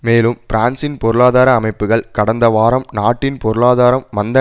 மேலும் பிரான்சின் பொருளாதார அமைப்புக்கள் கடந்த வாரம் நாட்டின் பொருளாதாரம் மந்த